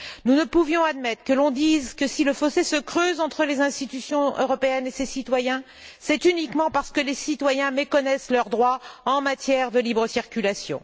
Nous ne pouvions admettre que l'on dise que, si le fossé se creuse entre les institutions européennes et leurs citoyens, c'était uniquement parce que les citoyens méconnaissaient leurs droits en matière de libre circulation.